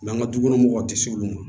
an ka dukɔnɔmɔgɔw tɛ s'olu ma